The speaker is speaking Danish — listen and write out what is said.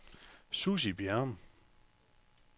Sussi Bjerrum